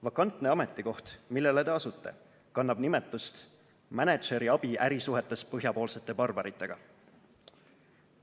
Vakantne ametikoht, millele te asute, kannab nimetust "mänedžeri abi ärisuhetes põhjapoolsete barbaritega".